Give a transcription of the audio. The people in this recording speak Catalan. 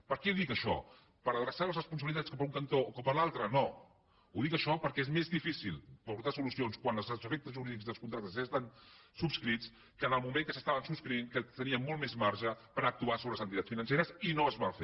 per què ho dic això per adreçar les responsabilitats cap a un cantó o cap a l’altre no ho dic això perquè és més difícil portar solucions quan els efectes jurídics dels contractes ja estan subscrits que en el moment que se subscrivien que tenien molt més marge per actuar sobre les entitats financeres i no es va fer